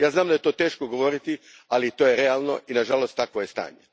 Znam da je to teško govoriti, ali to je realno, i nažalost takvo je stanje.